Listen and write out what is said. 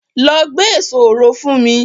Lọ gbé èso òro fún mi!